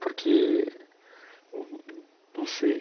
Porque... não não sei.